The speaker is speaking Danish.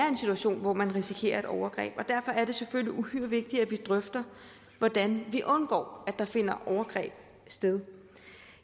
en situation hvor man risikerer et overgreb derfor er det selvfølgelig uhyre vigtigt at vi drøfter hvordan vi undgår at der finder overgreb sted